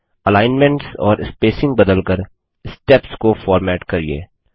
alignments और spacing बदल कर स्टेप्स को फॉर्मेट करिये